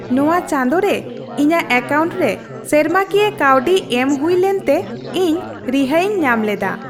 ᱱᱚᱶᱟ ᱪᱟᱸᱫᱳᱨᱮ ᱤᱧᱟᱹᱜ ᱮᱠᱟᱣᱩᱱᱴ ᱨᱮ ᱥᱮᱨᱢᱟᱠᱤᱭᱟᱹ ᱠᱟᱹᱣᱰᱤ ᱮᱢ ᱦᱩᱭ ᱞᱮᱱᱛᱮ ᱤᱧ ᱨᱤᱦᱟᱹᱭᱤᱧ ᱧᱟᱢ ᱞᱮᱫᱟ ᱾